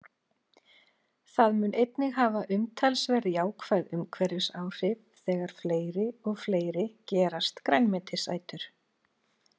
Það mun einnig hafa umtalsverð jákvæð umhverfisáhrif þegar fleiri og fleiri gerast grænmetisætur.